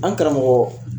An karamɔgɔ